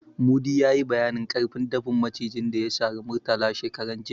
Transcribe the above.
Mudi ya yi bayanin ƙarfin dafin Macijin da ya sari Murtala shekaran jiya.